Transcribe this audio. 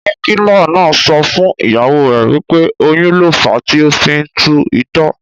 dókítà so fún ìyàwó rẹ, wípé oyún lo fa tí o fi ń tú itọ́.